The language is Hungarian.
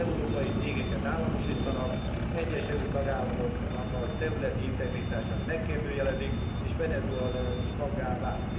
Európai cégeket államosítanak, egyes EU tagállamoknak a területi integritását megkérdőjelezik és Venezuela is taggá vált.